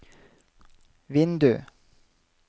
vindu